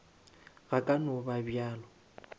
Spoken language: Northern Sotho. go ka no ba bjalo